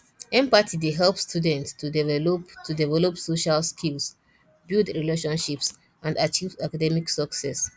empathy dey help students to develop to develop social skills build relationships and achieve academic success